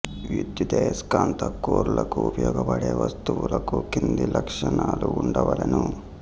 విద్యుదస్కాంత core లకు ఉపయోగపడే వస్తువులకు క్రింది లక్షణాలు వుండవలెను